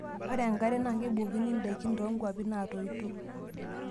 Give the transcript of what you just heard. Ore enkare naa kebukokini indaikin toonkwapi naatoito.